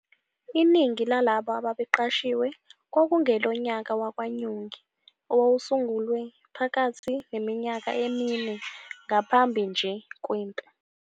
Iningi lalabo ababeqashiwe kwakungelonyaka wakwaNyongi owawusungulwe phakathi neminyaka emine ngaphambi nje kwempi.